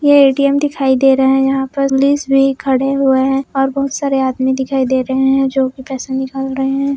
ये ए_टी_एम दिखाई दे रहा है यहा पर पुलिस भी खड़े हुए है और बहुत सारे आदमी दिखाई दे रहे है जो की पैसे निकाल रहे है।